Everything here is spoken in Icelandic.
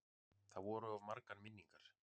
Það voru of margar minningar.